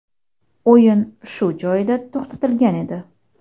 o‘yin shu joyida to‘xtatilgan edi.